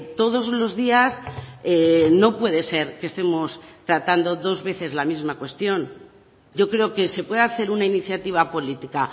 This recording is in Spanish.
todos los días no puede ser que estemos tratando dos veces la misma cuestión yo creo que se puede hacer una iniciativa política